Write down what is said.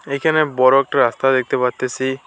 এইখানে বড় একটা রাস্তা দেখতে পারতেসি।